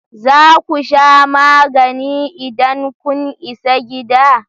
Za ku sha magani idan kun isa gida?